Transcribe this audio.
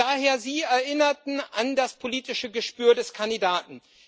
Und daher Sie erinnerten an das politische Gespür des Kandidaten.